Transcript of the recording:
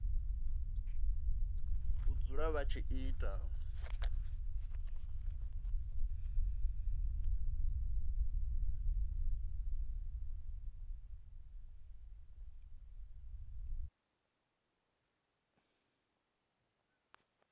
u dzula vha tshi ita